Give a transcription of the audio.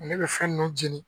Ne bɛ fɛn ninnu jeni